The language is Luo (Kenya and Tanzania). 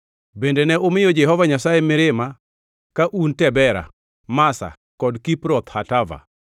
Bende ne umiyo Jehova Nyasaye mirima ka un Tabera, Masa, kod Kibroth Hatava.